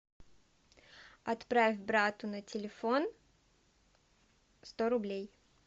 отправь брату на телефон сто рублей